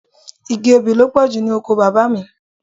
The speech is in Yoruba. Igi obì ló pọ̀jù ní oko bàbá mi.